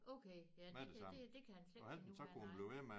Okay ja det kan det det kan han slet ikke nu nej